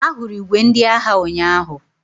Ahụrụ ìgwè ndị agha ụnyaahụ.